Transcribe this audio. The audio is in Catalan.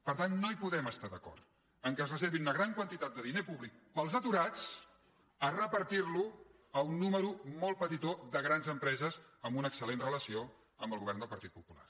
per tant no podem es·tar d’acord que es reservi una gran quantitat de diner públic per als aturats per repartir·lo per a un nombre molt petitó de grans empreses amb una excel·ció amb el govern del partit popular